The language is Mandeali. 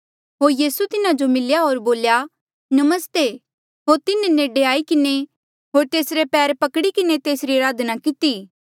होर यीसू तिन्हा जो मिल्या होर बोल्या नमस्ते होर तिन्हें नेडे आई किन्हें होर तेसरे पैर पकड़ी किन्हें तेस जो अराधना कितेया